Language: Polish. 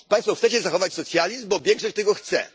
Państwo chcecie zachować socjalizm, bo większość tego chce.